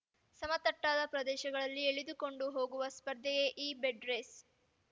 ಸಮತಟ್ಟಾದ ಪ್ರದೇಶಗಳಲ್ಲಿ ಎಳೆದುಕೊಂಡು ಹೋಗುವ ಸ್ಪರ್ಧೆಯೇ ಈ ಬೆಡ್ ರೇಸ್